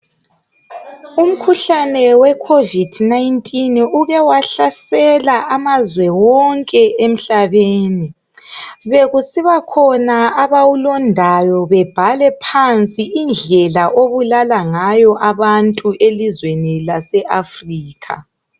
Umkhuhlane we covidi 19 ukewahlasela amazwe wonke emhlabeni bekusibakhona abawulodayo bebhale phansi indlela obulala ngayo abantu elizweni lase Africa